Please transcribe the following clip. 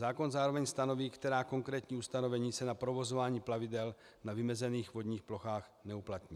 Zákon zároveň stanoví, která konkrétní ustanovení se na provozování plavidel na vymezených vodních plochách neuplatní.